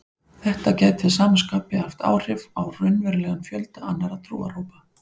Þetta gæti að sama skapi haft áhrif á raunverulegan fjölda annarra trúarhópa.